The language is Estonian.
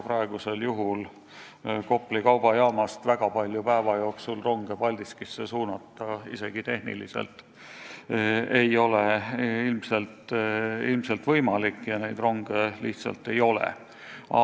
Praegu ilmselt ei ole Kopli kaubajaamast päeva jooksul väga palju ronge Paldiskisse suunata enam tehniliselt võimalik, aga ega neid ronge ei ole ka.